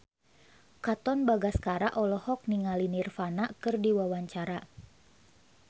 Katon Bagaskara olohok ningali Nirvana keur diwawancara